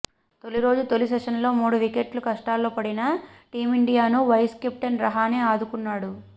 తొలిరోజు తొలి సెషన్లోనే మూడు వికెట్లు కష్టాల్లో పడిన టీమిండియాను వైస్ కెప్టెన్ రహానే ఆదుకున్నాడు